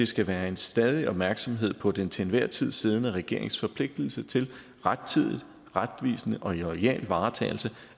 skal være en stadig opmærksomhed på den til enhver tid siddende regerings forpligtelse til rettidigt retvisende og loyal varetagelse